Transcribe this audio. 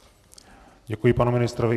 Děkuji panu ministrovi.